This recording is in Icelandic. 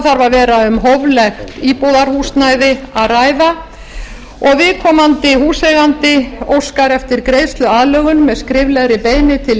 að vera um hóflegt íbúðarhúsnæði að ræða og viðkomandi húseigandi óskar eftir greiðsluaðlögun með skriflegri beiðni til